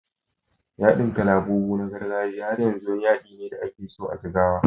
Yadin kalabubu na gargajiya har yanzu wani yadi ne da ake so a Jigawa.